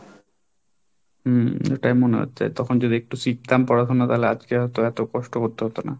হম এটাই মনে হচ্ছে তখন যদি একটু শিখতাম পড়াশোনা তাহলে আজকে হয়তো এত কষ্ট করতে হতো না।